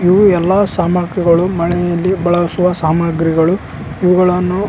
ಇವು ಎಲ್ಲ ಸಾಮಗ್ರಿಗಳು ಮಳೆಯಲ್ಲಿ ಬಾಳಸುವ ಸಾಮಗ್ರಿಗಳು ಇವುಗಳನ್ನು--